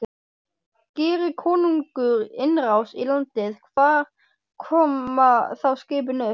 Geri konungur innrás í landið, hvar koma þá skipin upp?